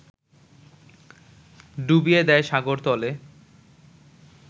ডুবিয়ে দেয় সাগরতলে